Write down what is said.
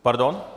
Pardon?